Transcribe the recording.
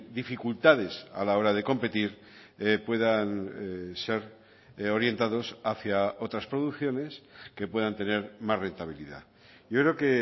dificultades a la hora de competir puedan ser orientados hacia otras producciones que puedan tener más rentabilidad yo creo que